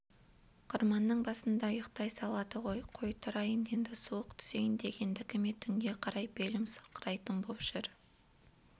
қырманның басында ұйықтай салады ғой қой тұрайын енді суық түсейін дегендікі ме түнге қарай белім сырқырайтын боп жүр